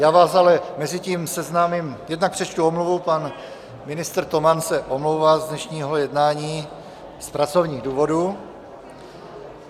Já vás ale mezitím seznámím - jednak přečtu omluvu, pan ministr Toman se omlouvá z dnešního jednání z pracovních důvodů.